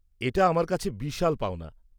-এটা আমার কাছে বিশাল পাওনা।